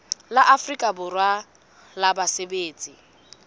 la afrika borwa la basebetsi